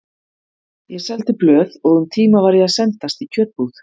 Ég seldi blöð og um tíma var ég að sendast í kjötbúð.